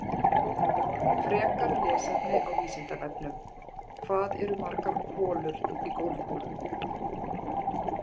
Frekara lesefni á Vísindavefnum: Hvað eru margar holur á golfkúlum?